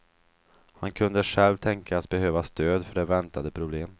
Han kunde själv tänkas behöva stöd, för det väntade problem.